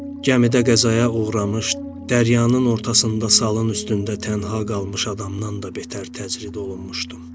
Gəmidə qəzaya uğramış, dəryanın ortasında salın üstündə tənha qalmış adamdan da betər təcrid olunmuşdum.